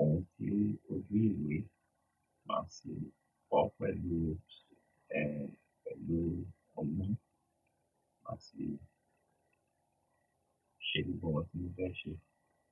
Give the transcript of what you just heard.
ohun tí o oje ìwé máa sì kọ pẹ̀lú, ẹ pẹ̀lú ọmú máa sì ṣe gbogbo ohun tí mó fẹ́ ṣe.